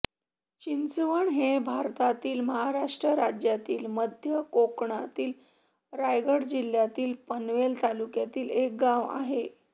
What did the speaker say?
चिंचवण हे भारतातील महाराष्ट्र राज्यातील मध्य कोकणातील रायगड जिल्ह्यातील पनवेल तालुक्यातील एक गाव आहे